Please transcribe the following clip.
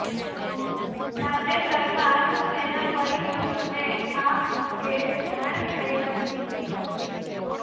તાજેતરમાં જ તેના પરિજનોને આ અંગે જાણ થઇ હતી